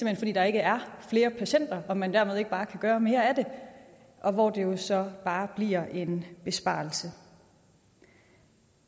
hen fordi der ikke er flere patienter og at man dermed ikke bare kan gøre mere af det og hvor det jo så bare bliver en besparelse